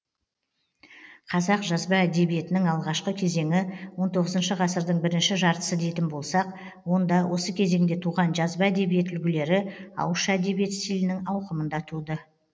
қазақ жазба әдебиетінің алғашқы кезеңі он тоғызыншы ғасырдың бірінші жартысы дейтін болсақ онда осы кезеңде туған жазба әдебиет үлгілері ауызша әдебиет стилінің ауқымында туды